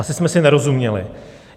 Asi jsme si nerozuměli.